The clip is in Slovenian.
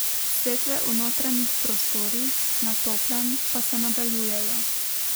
Setve v notranjih prostorih, na toplem, pa se nadaljujejo.